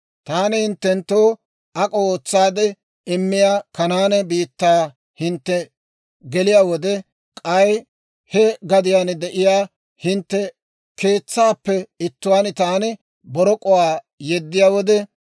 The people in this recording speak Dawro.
«Taani hinttenttoo ak'o ootsaade immiyaa Kanaane biittaa hintte geliyaa wode, k'ay he gadiyaan de'iyaa hintte keetsaappe ittuwaan taani borok'uwaa yeddiyaa wode,